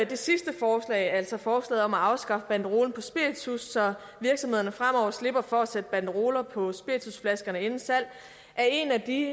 det sidste forslag altså forslaget om at afskaffe banderole på spiritus så virksomhederne fremover slipper for at sætte banderoler på spiritusflaskerne inden salg er en af de